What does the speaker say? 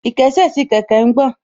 Ìkésè sí kẹ̀kẹ́ ń gbọ̀n